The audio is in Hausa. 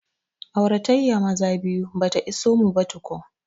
Aurayyan maza biyu bata iso mu ba tukun